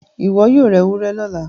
iwọ yóò rá ewúrẹ lọla